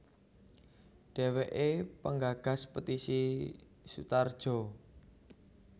Dheweke penggagas Petisi Sutarjo